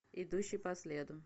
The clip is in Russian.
идущий по следу